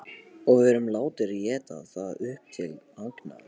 Og við erum látnir éta það upp til agna.